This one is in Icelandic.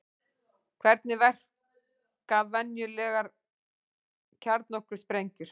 Hvernig verka venjulegar kjarnorkusprengjur?